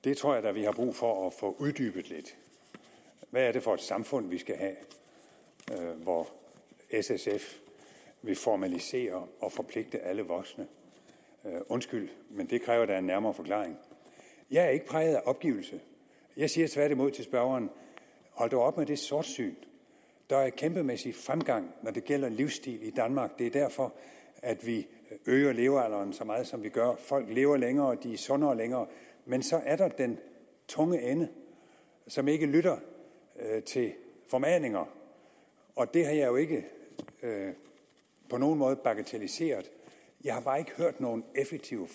det tror jeg da vi har brug for at få uddybet lidt hvad er det for et samfund vi skal have hvor s sf vil formalisere og forpligte alle voksne undskyld men det kræver da en nærmere forklaring jeg er ikke præget af opgivelse jeg siger tværtimod til spørgeren hold dog op med det sortsyn der er en kæmpemæssig fremgang når det gælder livsstil i danmark det er derfor at vi øger levealderen så meget som vi gør folk lever længere og de er sundere længere men så er der den tunge ende som ikke lytter til formaninger og det har jeg jo ikke på nogen måde bagatelliseret jeg har bare ikke hørt nogen effektive